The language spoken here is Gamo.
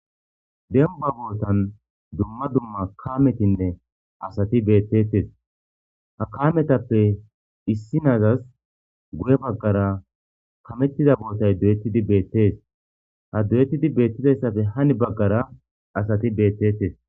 Demba bootan dumma dumma kametinne asati beettettes ha kametappe issinazas guye baggara kamettiza bootay doyettidi beettes ha duyettidi beettizayssafe hani baggara asati beettettes